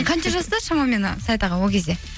қанша жаста шамамен саят аға ол кезде